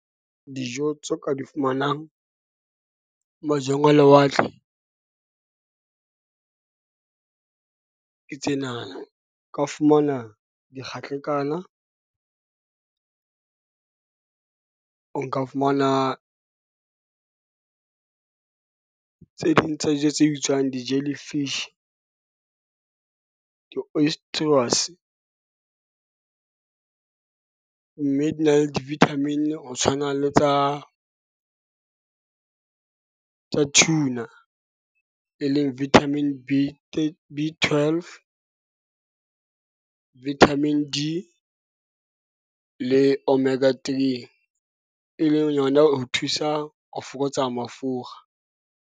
Dijo tse o ka di fumanang majweng a lewatle ke tse na na. O ka fumana di o ka fumana tse ding tsa dijo tse bitswang di-jellyfish, mme di na le vitamin-i ho tshwana le tsa, tsa tuna. E leng vitamin B B12, vitamin D le omega 3. E leng yona ho thusa ho fokotsa mafura.